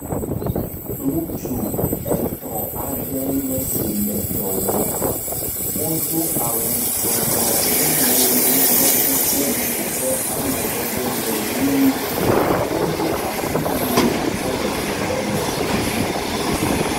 Ŋutsu etɔ̃ aɖe nye si le dɔ wɔm. wodo awu tsrɔlɔ eye woɖɔ kuku si ƒe amadede le ʋi. wodo asiwui la kɔ le dɔ la wɔm.